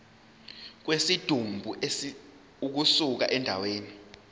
kwesidumbu ukusuka endaweni